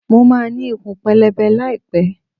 Mo máa ní ikùn pẹlẹbẹ láì pẹ́.